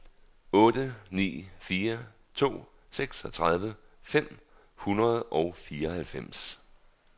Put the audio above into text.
otte ni fire to seksogtredive fem hundrede og fireoghalvfems